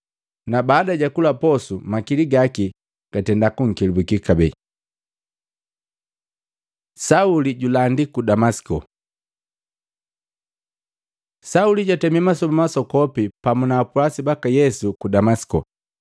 Na baada jakula posu, makili gaki gatenda kunkelabuki kabee. Sauli julandi ku Damasiko Sauli jatemi masoba masokopi pamu na apwasi baka Yesu ku Damasiko.